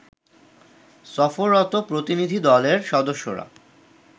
সফররত প্রতিনিধিদলের সদস্যরা